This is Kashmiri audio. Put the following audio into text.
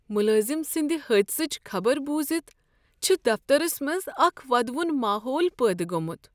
ملازم سٕنٛدحادثچ خبرٕ بوزتھ چھ دفترس منٛز اکھ ودوُن ماحول پٲدٕ گوٚومت۔